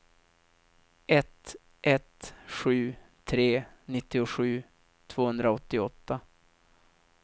ett ett sju tre nittiosju tvåhundraåttioåtta